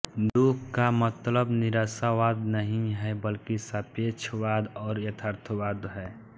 दुख का मतलब निराशावाद नहीं है बल्कि सापेक्षवाद और यथार्थवाद है